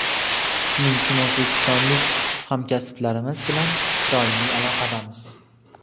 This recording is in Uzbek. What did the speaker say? shuning uchun o‘zbekistonlik hamkasblarimiz bilan doimiy aloqadamiz.